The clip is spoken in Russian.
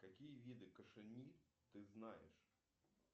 какие виды кашемир ты знаешь